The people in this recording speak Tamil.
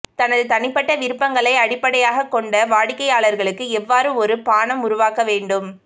தனது தனிப்பட்ட விருப்பங்களை அடிப்படையாகக் கொண்ட வாடிக்கையாளருக்கு எவ்வாறு ஒரு பானம் உருவாக்க வேண்டும்